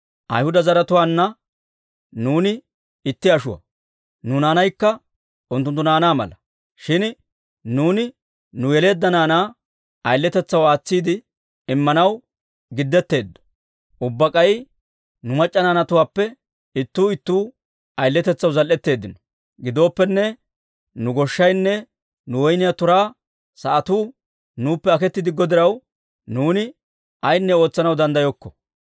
Ayhuda zaratuwaanna nuuni itti ashuwaa; nu naanaykka unttunttu naanaa mala. Shin nuuni nu yeleedda naanaa ayiletetsaw aatsiide immanaw giddetteeddo; ubbaa k'ay nu mac'c'a naanatuwaappe ittuu ittuu ayiletetsaw zal"etteeddino. Gidooppenne, nu goshshaynne nu woyniyaa turaa sa'atuu nuuppe aketti diggo diraw, nuuni ayinne ootsanaw danddayokko».